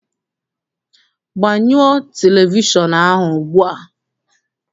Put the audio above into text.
Gbanyo televishọnụ ahụ ugbua!